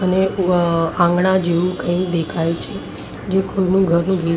અને વ આંગણા જેવું કઈ દેખાય છે જે કોઈનું ઘરનું ગેટ --